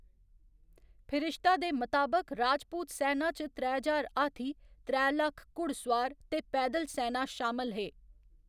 फिरिश्ता दे मताबक, राजपूत सैना च त्रै ज्हार हाथी, त्रै लक्ख घुड़सोआर ते पैदल सैना शामल हे।